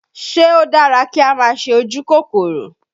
Ṣé ó dára kí á máa ṣe ojú kòkòrò?